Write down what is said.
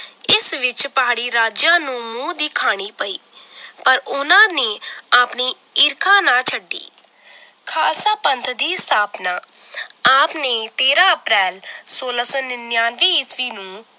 ਇਸ ਵਿਚ ਪਹਾੜੀ ਰਾਜਿਆਂ ਨੂੰ ਮੂੰਹ ਦੀ ਖਾਣੀ ਪਈ ਪਰ ਉਹਨਾਂ ਨੇ ਆਪਣੀ ਈਰਖਾ ਨਾ ਛੱਡੀ ਖਾਲਸਾ ਪੰਥ ਦੀ ਸਥਾਪਨਾ ਆਪਣੇ ਤੇਰਾਂ ਅਪ੍ਰੈਲ ਸੋਲਾਂ ਸੌ ਨਿਨਯਾਨਵੇਂ ਈਸਵੀ ਨੂੰ